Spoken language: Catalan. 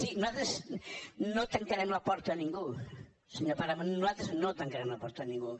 sí nosaltres no tancarem la porta a ningú senyor páramo nosaltres no tancarem la porta a ningú